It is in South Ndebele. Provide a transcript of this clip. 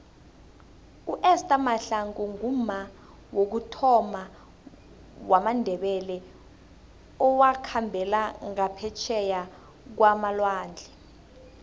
uester mahlangu ngumma wokuthoma womndebele owakhambela ngaphetjheya kwamalwandle